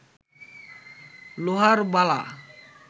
লোহার বালা